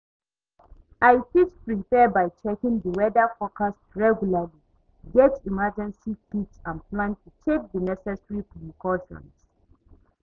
i fit prepare by checking di weather forecast regularly, get emergency kit and plan to take di necessary precautions.